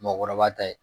Mɔkɔrɔba ta ye